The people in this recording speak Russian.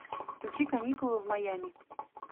включи каникулы в майями